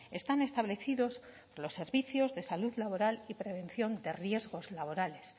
están establecidos por los servicios de salud laboral y prevención de riesgos laborales